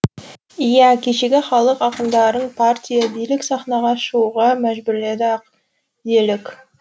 иә кешегі халық ақындарын партия билік сахнаға шығуға мәжбүрледі ақ делік